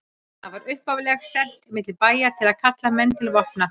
Það var upphaflega sent milli bæja til að kalla menn til vopna.